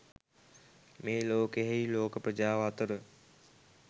මේ ලෝකයෙහි ලෝක ප්‍රජාව අතර